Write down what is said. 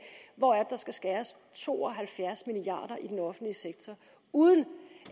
hvor det er der skal skæres to og halvfjerds milliard i den offentlige sektor uden